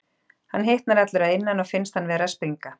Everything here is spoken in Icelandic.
Hann hitnar allur að innan og finnst hann vera að springa.